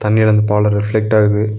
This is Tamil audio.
தண்ணில வந்து பாலம் ரிஃப்ளக்ட் ஆகுது.